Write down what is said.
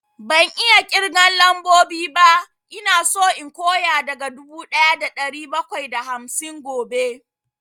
Ban iya ƙirgan lambobi ba, ina so in koya daga dubu ɗaya da ɗari bakwai da hamsin gobe